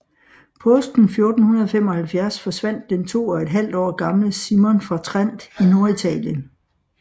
Påsken 1475 forsvandt den to og et halvt år gamle Simon fra Trent i Norditalien